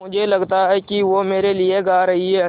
मुझे लगता है कि वो मेरे लिये गा रहीं हैँ